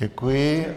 Děkuji.